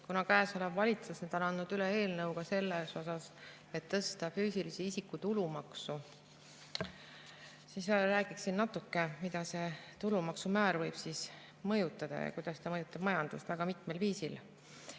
Kuna käesolev valitsus on andnud üle eelnõu, et tõsta füüsilise isiku tulumaksu, siis räägin natuke, mida see tulumaksumäär võib mõjutada ja kuidas ta mõjutab majandust väga mitmel viisil.